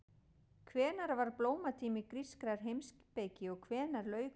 Hvenær var blómatími grískrar heimspeki og hvenær lauk honum?